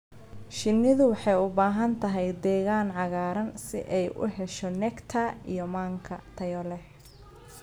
Shinnidu waxay u baahan tahay deegaan cagaaran si ay u hesho nectar iyo manka tayo leh.